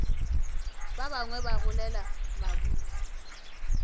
ba bangwe ba golela maburu